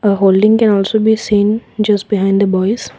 holding can also be seen just behind the boys.